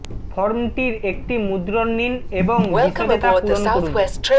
ফর্মটির একটি মুদ্রণ নিন এবং বিশদে তা পূরণ করুন